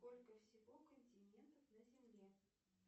сколько всего континентов на земле